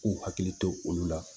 K'u hakili to olu la